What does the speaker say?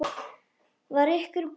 Var ykkur boðið það?